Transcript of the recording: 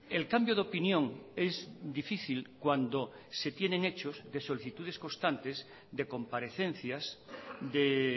el cambio de opinión es difícil cuando se tienen hechos de solicitudes constantes de comparecencias de